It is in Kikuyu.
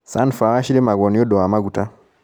Sunflower cirĩmagwo nĩũndũ wa maguta.